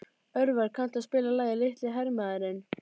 Örvar, kanntu að spila lagið „Litli hermaðurinn“?